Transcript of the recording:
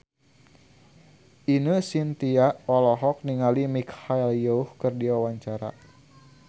Ine Shintya olohok ningali Michelle Yeoh keur diwawancara